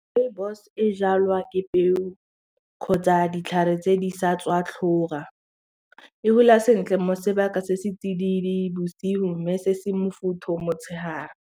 Rooibos e jalwa ke peo kgotsa ditlhare tse di sa tswa tlhoga e gola sentle mo sebaka se se tsididi bosigo mme se se mofutho motshegare.